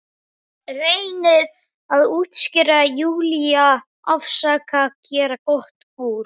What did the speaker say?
Reynir að útskýra, Júlía, afsaka, gera gott úr.